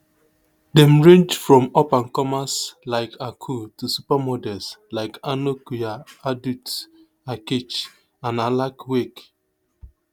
dem range from upandcomers like akul to supermodels like anok yai adut akech and alak wek